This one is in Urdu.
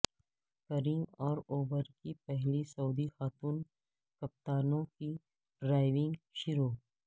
کریم اور اوبر کی پہلی سعودی خاتون کپتانوں کی ڈرائیونگ شروع